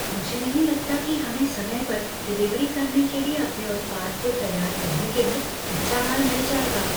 मुझे नहीं लगता कि हमें समय पर डिलीवरी करने के लिए अपने उत्पाद को तैयार करने के लिए कच्चा माल मिल जाएगा।